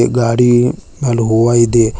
ಈ ಗಾಡಿ ಅಲ್ ಹೂವ ಇದೆ.